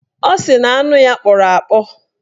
Ọ sị na anụ ya kpọrọ akpọ